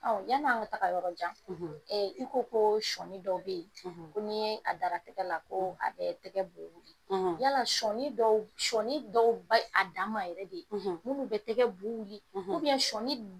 yan'a ŋa taga yɔrɔjan i ko koo sɔɔni dɔw be ye ko n'i yee a dara tɛgɛ la koo a bɛɛ tɛgɛ bu wili yala sɔɔni dɔw b sɔɔni dɔw bayi a dan ma yɛrɛ de munnu be tɛgɛ bu wili sɔɔni